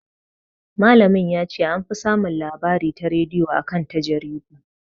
Malamin ya ce "an fi samun labari ta rediyo a kan ta jaridu".